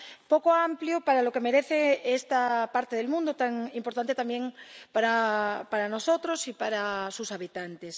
poco amplio para lo que merece esta parte del mundo, tan importante también para nosotros y para sus habitantes.